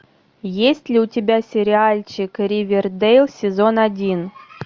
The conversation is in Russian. есть ли у тебя сериальчик ривердейл сезон один